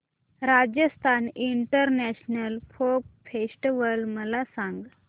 Rajasthan international folk festival मला सांग